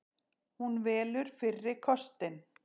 Hún velur fyrri kostinn.